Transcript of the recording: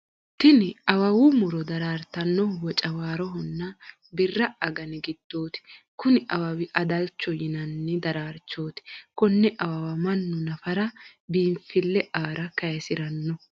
Tinni awawu Muro daraartanohu wocawaarohonna birra aganni gidooti. Kunni awawi adalchoho yinnanni daraarchooti. Konne awawa mannu nafara biinfile aara kaasirano